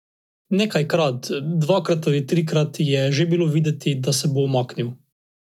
Star je bil osemnajst let, bil je še devičnik in anekdote z medenih tednov so ga spravljale v zadrego.